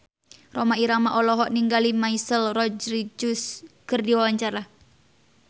Rhoma Irama olohok ningali Michelle Rodriguez keur diwawancara